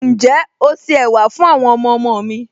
Ǹjẹ́ o se ẹ̀wà fún àwọn ọmọọmọ mi